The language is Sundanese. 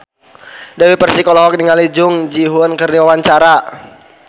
Dewi Persik olohok ningali Jung Ji Hoon keur diwawancara